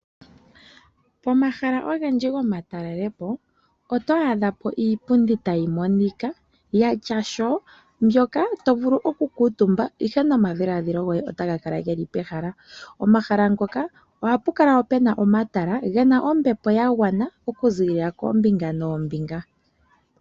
Pomahala ogendji gomatalelopo oto adha po iipundi tayi monika ya lya sha mbyoka to vulu okukuutumba ashike nomadhiladhilo goye otaga kala geli pehala. Pomahala ngoka ohapu kala wo pu na omatala ge na ombepo ya gwana okuziilila koombinga noombinga.